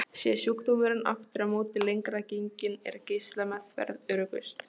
Sé sjúkdómurinn aftur á móti lengra genginn er geislameðferð öruggust.